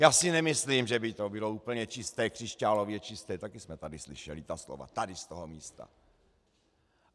Já si nemyslím, že by to bylo úplně čisté, křišťálově čisté, taky jsme tady slyšeli ta slova tady z toho místa.